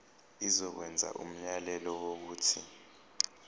izokwenza umyalelo wokuthi